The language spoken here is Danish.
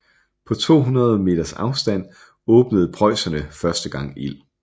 På 200 meters afstand åbnede preusserne første gang ild